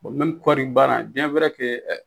Bɔn mɛmi kɔri baara biyɛn wɛrɛ ke ɛ